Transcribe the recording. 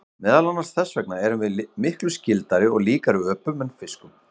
meðal annars þess vegna erum við miklu „skyldari“ og líkari öpum en fiskum